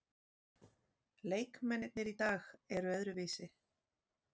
Leikmennirnir í dag eru öðruvísi.